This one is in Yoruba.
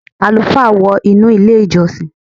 Àlùfáà wọ inú ilé- ìjọsìn.